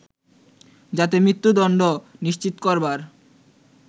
যাতে মৃত্যুদণ্ড নিশ্চিত করবার